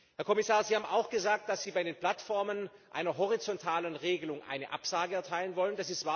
Herr Kommissar, Sie haben auch gesagt, dass Sie bei den Plattformen einer horizontalen Regelung eine Absage erteilen wollen.